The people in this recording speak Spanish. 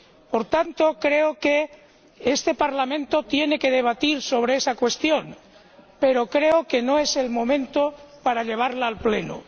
Por tanto, creo que este Parlamento tiene que debatir sobre esa cuestión, pero creo que no es el momento para llevarla al Pleno.